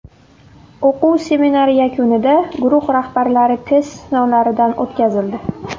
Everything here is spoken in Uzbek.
O‘quv seminari yakunida guruh rahbarlari test sinovlaridan o‘tkazildi.